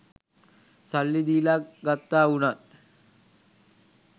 සල්ලි දීලා ගත්තා වුණත්